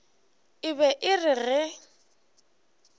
e be e re ge